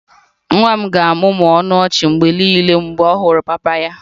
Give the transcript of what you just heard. Nwa m ga-amụmụ ọnụ ọchị mgbe niile mgbe ọ hụrụ papa ya